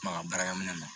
Maka baarakɛ minɛ ma